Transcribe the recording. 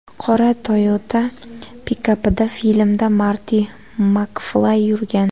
Qora Toyota pikapida filmda Marti MakFlay yurgan.